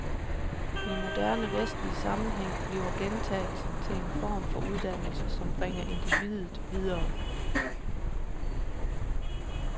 I moderne, vestlig sammenhæng bliver gentagelsen til en form for uddannelse, som bringer individet videre.